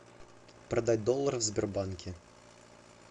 продать доллары в сбербанке